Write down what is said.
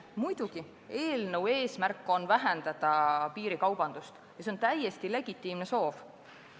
Muidugi, eelnõu eesmärk on vähendada piirikaubandust ja see on täiesti legitiimne soov.